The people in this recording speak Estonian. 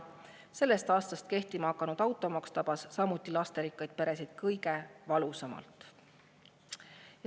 Sellest aastast kehtima hakanud automaks tabas samuti lasterikkaid peresid kõige valusamalt.